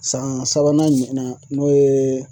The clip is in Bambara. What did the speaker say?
San sabanan ɲɔgɔnna n'o ye